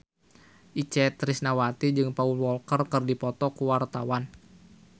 Itje Tresnawati jeung Paul Walker keur dipoto ku wartawan